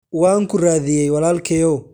waan ku raadiyay walaalkeyow